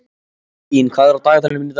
Eylín, hvað er á dagatalinu mínu í dag?